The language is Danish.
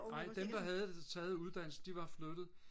nej dem der havde taget uddannelse de var flyttet